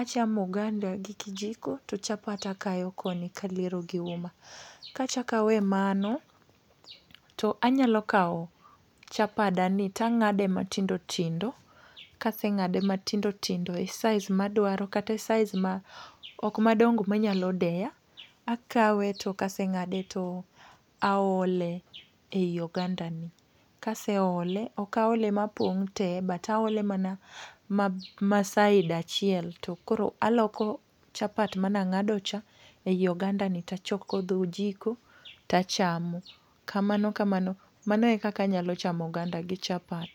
achamo oganda gi kijiko, to chapat akayo koni kaliero gi uma. Kachak awe mano, to anyalo kawo chapadani tang'ade matindo tindo, kase ng'ade matindo tindo e size madwaro kata e size ma okma dongo manyalo deya, akawe to kase ng'ade to aole ei ogandani. Kase ole, okaole mapong' te but aole mana ma ma side achiel, to koro aloko chapat mana ng'ado cha ei ogandani tachok gi dho ojiko tachamo. Kamano kamano, mano e kaka nyalo chamo oganda gi chapat.